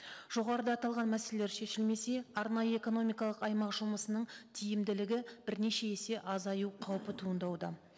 жоғарыда аталған мәселелер шешілмесе арнайы экономикалық аймақ жұмысының тиімділігі бірнеше есе азаю қаупі туындауда